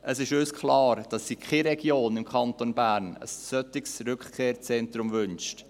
Es ist uns klar, dass sich keine Region im Kanton Bern ein solches Rückkehrzentrum wünscht.